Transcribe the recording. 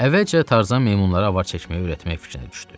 Əvvəlcə Tarzan meymunlara avar çəkməyi öyrətmək fikrinə düşdü.